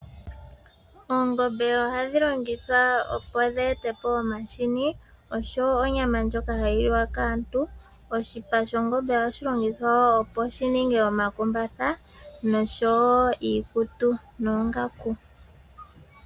Oongombe ohadhi longithwa opo dhi e te po omahini, osho woo onyama ndjoka hayi li wa kaantu. Oshipa shongombe ohashi longithwa oku ningwa omakumbatha nosho woo iikutu noongaku.